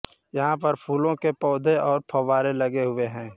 यहां पर फूलों के पौधे और फव्वारे लगे हुए हैं